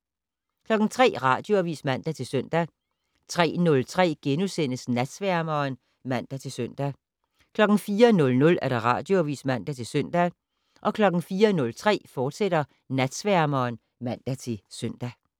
03:00: Radioavis (man-søn) 03:03: Natsværmeren *(man-søn) 04:00: Radioavis (man-søn) 04:03: Natsværmeren, fortsat (man-søn)